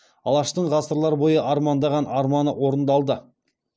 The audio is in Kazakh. алаштың ғасырлар бойы армандаған арманы орындалды